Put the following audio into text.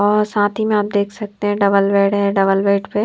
और साथ ही में आप देख सकते हैं डबल बेड है डबल बेड पे --